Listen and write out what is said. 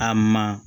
A ma